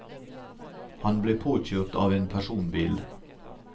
Han ble påkjørt av en personbil.